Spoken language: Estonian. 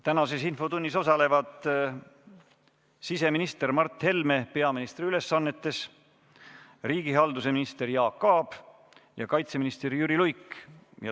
Tänases infotunnis osalevad siseminister Mart Helme peaministri ülesannetes, riigihalduse minister Jaak Aab ja kaitseminister Jüri Luik.